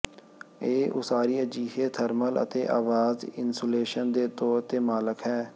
ਇਹ ਉਸਾਰੀ ਅਜਿਹੇ ਥਰਮਲ ਅਤੇ ਆਵਾਜ਼ ਇਨਸੂਲੇਸ਼ਨ ਦੇ ਤੌਰ ਤੇ ਮਾਲਕ ਹੈ